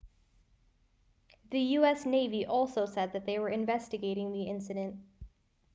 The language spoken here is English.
the us navy also said they were investigating the incident